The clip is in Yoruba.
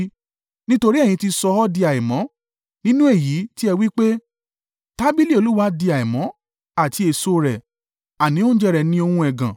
“Nítorí ẹ̀yin ti sọ ọ́ di àìmọ́, nínú èyí tí ẹ wí pé, ‘Tábìlì Olúwa di àìmọ́ àti èso rẹ̀,’ àní oúnjẹ rẹ̀ ni ohun ẹ̀gàn.